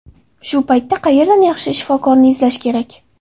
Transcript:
Shu paytda qayerdan yaxshi shifokorni izlash kerak?